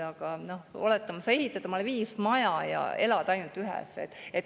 Aga oletame, et sa ehitad omale viis maja ja elad ainult ühes.